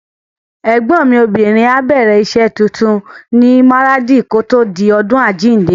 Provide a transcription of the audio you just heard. Ẹ̀gbọ́n mi obìnrin á bẹ̀rẹ̀ rẹ̀ iṣẹ́ tuntun ní Maradi kòtò di ọdún àjíǹde.